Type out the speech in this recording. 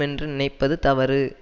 என்று நினைப்பது தவறு